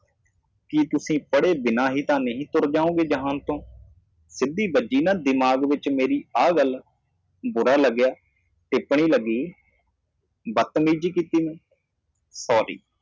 ਜੇ ਤੁਸੀਂ ਬਿਨਾਂ ਪੜ੍ਹੇ ਕਿਤੇ ਹੋ ਤਾਂ ਇਸ ਦੁਨੀਆ ਨੂੰ ਨਾ ਛੱਡੋ ਇਹ ਗੱਲ ਸਿੱਧੀ ਮੇਰੇ ਦਿਮਾਗ ਵਿਚ ਆ ਗਈ ਮਾੜੀ ਟਿੱਪਣੀ ਮਹਿਸੂਸ ਕੀਤੀ ਮੈਂ ਦੁਰਵਿਵਹਾਰ ਕੀਤਾ ਮਾਫ਼ ਕਰਨਾ